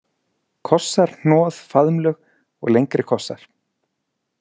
Kossar, hnoð, faðmlög og lengri kossar.